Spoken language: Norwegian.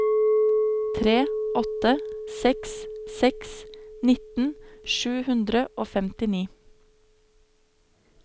tre åtte seks seks nitten sju hundre og femtini